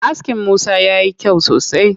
Askin Musa yayi kyau sosai.